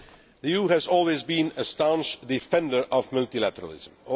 The EU has always been a staunch defender of multilateralism.